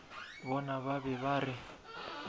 bona ba be ba re